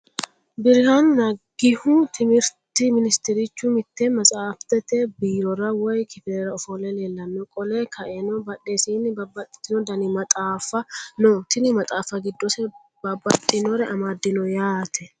Biraanu Nagihu timihiriti minisiterichu mitte metsafitete biroora woyi kifilera ofolle leelanno qole kaenna badhesiinni babaxitino Dani maxaafa no tinni maxaafa giddose babaxinnore amadinno yaate.